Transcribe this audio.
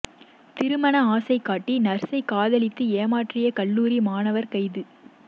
திருமண ஆசை காட்டி நர்சை காதலித்து ஏமாற்றிய கல்லூரி மாணவர் கைது